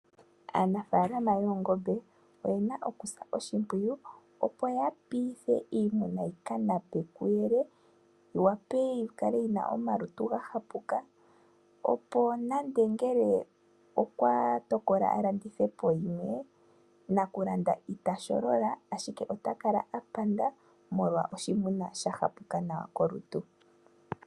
Aanafaalama yoongombe oyena okusa oshimpwiyu, opo ya piithe iimuna yi ka nape kuyele, yi wape yi kale yina omalutu ga hapuka, opo nande ngele okwa tokola a landithe po yimwe naku landa ita sholola ashike ota kala a panda, molwa oshimuna sha hapuka nawa kolutu.